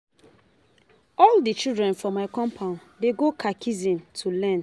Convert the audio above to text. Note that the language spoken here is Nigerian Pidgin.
All di children for my compound dey go catechism to learn.